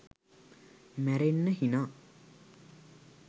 මැරෙන්න හිනා.